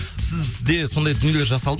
сізде сондай дүниелер